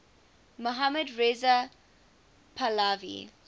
mohammad reza pahlavi